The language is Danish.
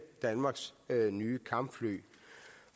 danmarks nye kampfly